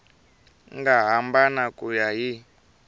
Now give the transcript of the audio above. nga hambana ku ya hi